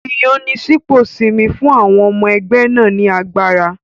Ìyànsípò Simi fún àwọn ọmọ ẹgbẹ́ náà ní agbára.